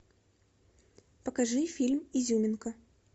покажи фильм изюминка